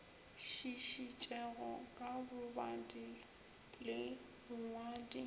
šišitšego ka bobadi le bongwadi